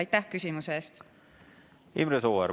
Imre Sooäär, palun!